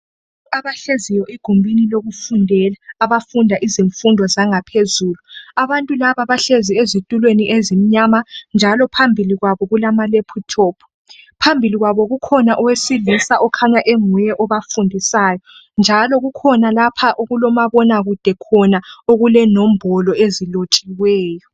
Abahleziyo egumbini lokufundela abafunda izifundo zangaphezulu. Abantu laba bahlezi ezitulweni ezimnyama njalo phambili kwabo kulamalephuthophu. Phambili kwabo kukhona owesilisa okhanya enguye obafundisayo njalo kukhona lapha okulomabonakude khona okulenombolo ezilotshiweyo.